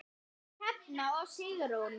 Fríða, Hrefna og Sigrún.